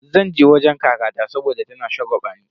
Zan je wajen kakata saboda tana shagwabani.